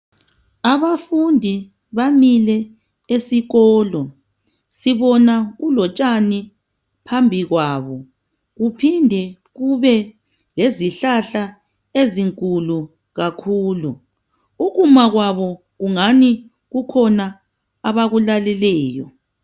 abafundi bamile esikolo sibona kulotshani phambi kwabo kuphinde kube lezihlahla ezinkulu kakhulu ukuma kwabo ngani kukhona abakulaleleyo